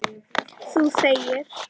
Þú þegir.